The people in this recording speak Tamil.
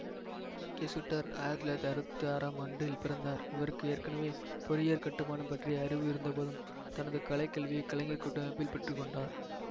கெசுட்டர் ஆயிரத்தி தொள்ளாயிரத்தி அறுபத்தி ஆறாம் ஆண்டில் பிறந்தார் இவருக்கு ஏற்கெனவே பொறியியற் கட்டுமானம் பற்றிய அறிவு இருந்தபோதும் தனது கலை கல்வியை கலைஞர் கூட்டமைப்பில் பெற்று கொண்டார்